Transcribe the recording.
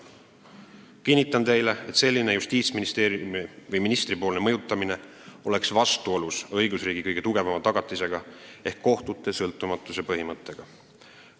Kinnitan teile, et selline mõjutamine Justiitsministeeriumi või ministri poolt oleks vastuolus õigusriigi kõige tugevama tagatisega ehk kohtute sõltumatuse põhimõttega.